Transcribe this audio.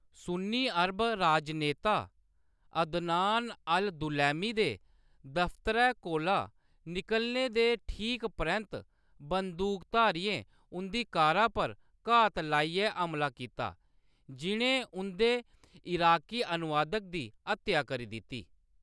सुन्नी अरब राजनेता Adnan al Dulaimi दे दफ्तरै कोला निकलने दे ठीक परैंत्त, बंदूकधारियें उंʼदी कारै पर घात लाइयै हमला कीता, जि'नें उंʼदे इराकी अनुवादक दी हत्या करी दित्ती।